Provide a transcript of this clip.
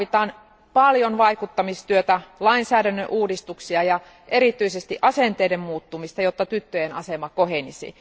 Tarvitaan paljon vaikuttamistyötä, lainsäädännön uudistuksia ja erityisesti asenteiden muuttumista, jotta tyttöjen asema kohenisi.